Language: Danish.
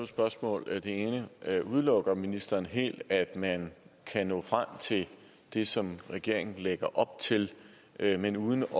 spørgsmål det ene er udelukker ministeren helt at man kan nå frem til det som regeringen lægger op til men uden at